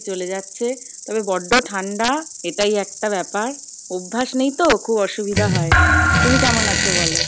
চলে যাচ্ছে তবে বড্ড ঠাণ্ডা, এটাই একটা ব্যাপার। অভ্যাস নেই তো, খুব অসুবিধা হয়, তুমি কেমন আছো বলো?